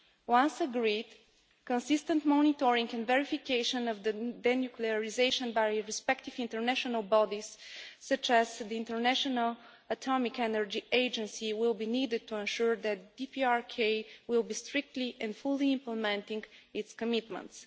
Once agreed, consistent monitoring and verification of the de nuclearisation by respective international bodies such as the International Atomic Energy Agency will be needed to ensure that DPRK is be strictly and fully implementing its commitments.